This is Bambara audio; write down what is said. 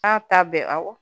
K'a ta bɛɛ awɔ